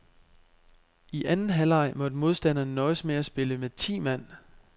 I anden halvleg måtte modstanderne nøjes med at spille med ti mand.